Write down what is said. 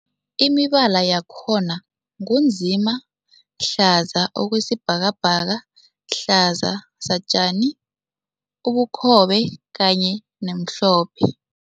Imibala yakhona ngu nzima, hlaza okwesibhakabhaka, hlaza satjani, ubukhobe kanye nomhlophe.